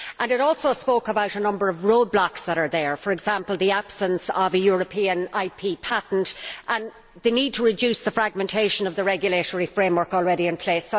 It also spoke about a number of roadblocks that are there, for example the absence of a European IP patent and the need to reduce the fragmentation of the regulatory framework already in place.